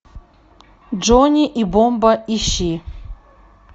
джонни и бомба ищи